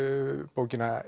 bókina